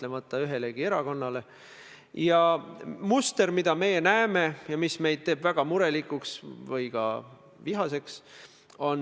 " Ma tõmban siin otsese paralleeli karistusseadustikuga, mille § 232 räägib riigireetmisest.